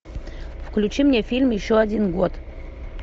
включи мне фильм еще один год